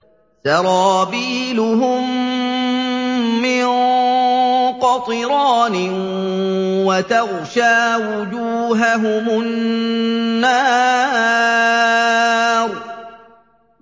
سَرَابِيلُهُم مِّن قَطِرَانٍ وَتَغْشَىٰ وُجُوهَهُمُ النَّارُ